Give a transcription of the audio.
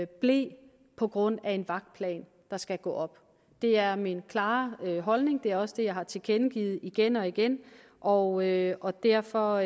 ble på grund af en vagtplan der skal gå op det er min klare holdning det er også det jeg har tilkendegivet igen og igen og og derfor